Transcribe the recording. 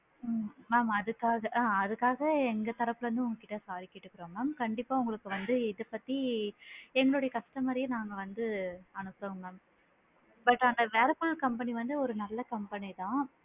உம் mam அதுக்காக ஆ அதுக்காக எங்க தரப்புல இருந்து உங்ககிட்ட sorry கேட்டுக்குறோம் mam கண்டிப்பா உங்களுக்கு வந்து இது பத்தி என்னுடைய customer ரே நாங்க வந்து அனுப்புறோம் mam but அந்த வேர்ல்பூல் company வந்து ஒரு நல்ல company தான்.